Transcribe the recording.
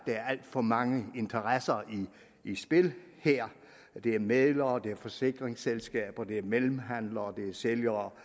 er alt for mange interesser i spil her det er mæglere det er forsikringsselskaber det er mellemhandlere og det er sælgere